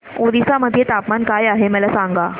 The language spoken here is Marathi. ओरिसा मध्ये तापमान काय आहे मला सांगा